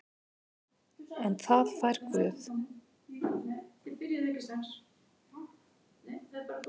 En það fær Guð.